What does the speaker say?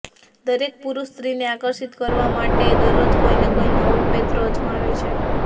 દરેક પુરુષ સ્ત્રીને આકર્ષિત કરવા માટે દરરોજ કોઈને કોઈ નવો પેંતરો અજમાવે છે